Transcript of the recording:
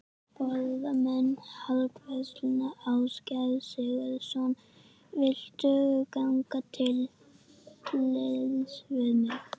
Forráðamenn Heildverslunar Ásgeirs Sigurðssonar vildu ganga til liðs við mig.